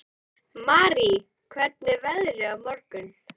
Marý, hvernig er veðrið á morgun?